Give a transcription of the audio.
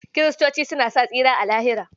Kiristoci suna sa tsira a Lahira.